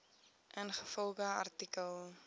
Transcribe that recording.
ingevolge artikel